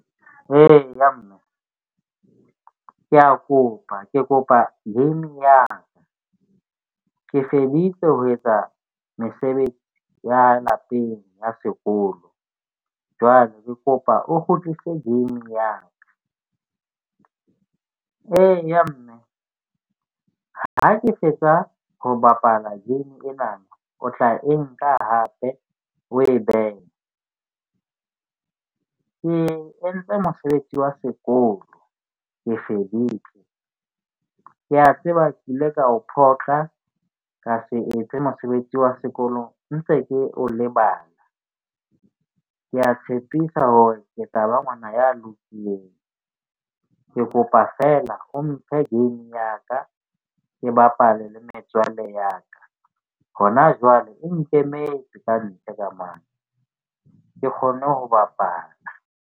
Eya, mme ke a kopa ke kopa game ya ka. Ke feditse ho etsa mesebetsi ya lapeng ya sekolo. Jwale ke kopa o kgutlise game ya ka. Eya, mme ha ke fetsa ho bapala game ena, o tla e nka hape o e behe. Ke entse mosebetsi wa sekolo, ke feditse. Ke a tseba ke ile ka o phoqa ka se etse mosebetsi wa sekolong ntse ke o lebala. Ke a tshepisa hore ke tla ba ngwana ya lokileng. Ke kopa feela o mphe game ya ka, ke bapale le metswalle ya ka. Hona jwale e nkemetse kantle ka mane. Ke kgonne ho bapala.